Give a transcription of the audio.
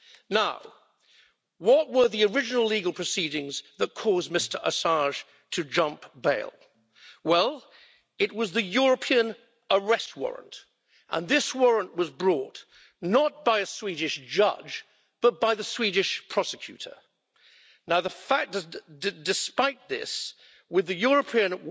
Now, what were the original legal proceedings that caused Mr Assange to jump bail? Well, it was the European arrest warrant, and this warrant was brought not by a Swedish judge but by the Swedish prosecutor. Despite this, with the European